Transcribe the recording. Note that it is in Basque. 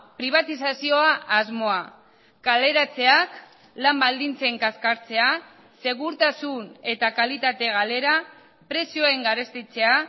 pribatizazioa asmoa kaleratzeak lan baldintzen kaskartzea segurtasun eta kalitate galera prezioen garestitzea